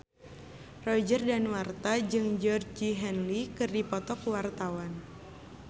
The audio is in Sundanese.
Roger Danuarta jeung Georgie Henley keur dipoto ku wartawan